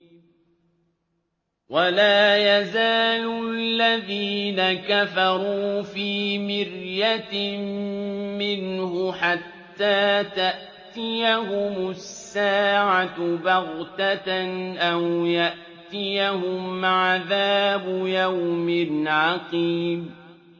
وَلَا يَزَالُ الَّذِينَ كَفَرُوا فِي مِرْيَةٍ مِّنْهُ حَتَّىٰ تَأْتِيَهُمُ السَّاعَةُ بَغْتَةً أَوْ يَأْتِيَهُمْ عَذَابُ يَوْمٍ عَقِيمٍ